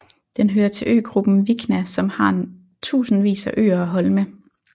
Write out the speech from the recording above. Den hører til øgruppen Vikna som har tusindvis af øer og holme